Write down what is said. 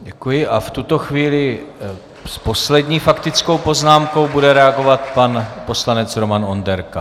Děkuji a v tuto chvíli s poslední faktickou poznámkou bude reagovat pan poslanec Roman Onderka.